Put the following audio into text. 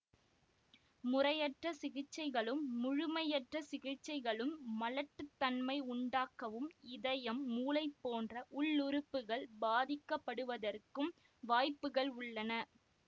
முறையற்ற சிகிச்சைகளும் முழுமையற்ற சிகிச்சைகளும் மலட்டுத்தன்மை உண்டாக்கவும் இதயம் மூளை போன்ற உள்ளுறுப்புகள் பாதிக்கப்படுவதற்கும் வாய்ப்புகள் உள்ளன